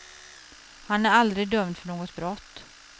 Han är aldrig dömd för något brott.